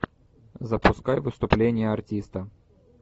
запускай выступление артиста